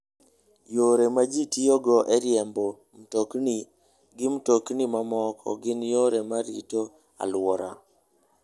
Yore ma ji tiyogo e riembo mtokni gi mtokni mamoko gin yore mag rito alwora.